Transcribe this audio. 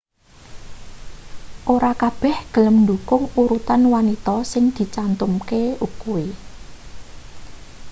ora kabeh gelem ndhukung urutan wanita sing dicantumke kuwi